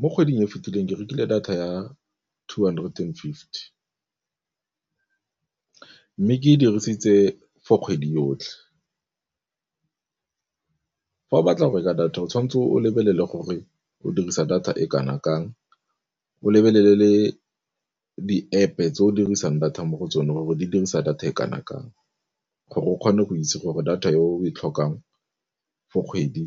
Mo kgweding e e fetileng ke rekile data ya two hundred and fifty, mme e dirisitse for kgwedi yotlhe fa o batla go reka data o tshwanetse o lebelele gore o dirisa data e kana kang, o lebelele le di-App-e tse o dirisang data mo go tsone gore di dirisa data e kana kang, gore o kgone go itse gore data yo o e tlhokang for kgwedi